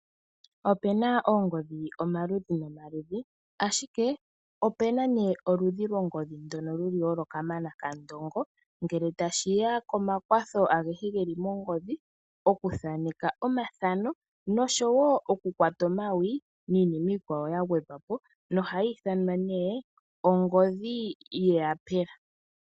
Opena oongodhi dhomaludhi nomaludhi, ashike opena nee oludhi longodhi ndoka luli olo kamana kandongo ngele tashiya komakwatho agehe geli mongodhi, okuthaneka omathano nosho wo okukwata omawi, niinima iikwawo yagwedhwapo nohayi ithanwa ne ongodhi yiiyapela.